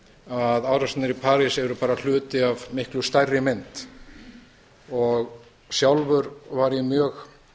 að árásirnar í parís eru bara hluti af miklu stærri mynd sjálfur var ég mjög